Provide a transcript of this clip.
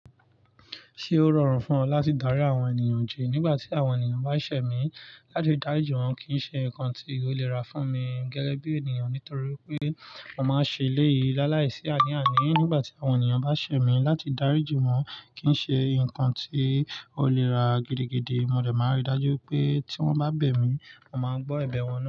Ṣé ó rọrùn fún ọ láti darí àwọn ènìyàn jẹ nígbà tí àwọn ènìyàn bá ṣẹ̀ mí láti darí jù wọ́n kì í ṣe nǹkan tí ó lè rà fún mi gẹ́gẹ́ bí ènìyàn nítorí pé mo máa ń ṣe ilé yìí láàláìsí àníàánì. Nígbà tí àwọn ènìyàn bá ṣẹ̀ mí láti darí jù wọ́n kì í ṣe nǹkan tí ó lè rà gidigidi. Mo dẹ̀ máa ń rí dájú pé tí wọ́n bá bẹ̀ mí, mo máa gbọ́ ẹ̀bẹ̀ wọn náà.